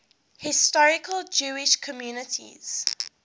historic jewish communities